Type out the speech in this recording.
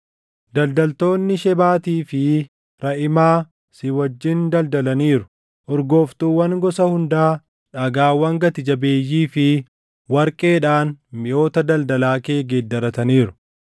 “ ‘Daldaltoonni Shebaatii fi Raʼimaa si wajjin daldalaniiru; urgooftuuwwan gosa hundaa, dhagaawwan gati jabeeyyii fi warqeedhaan miʼoota daldalaa kee geeddarataniiru.